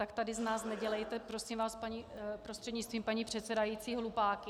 Tak tady z nás nedělejte prosím vás prostřednictvím paní předsedající hlupáky.